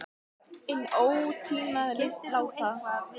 Inn óstýriláti sérvitringur er orðinn bljúgur almúgamaður.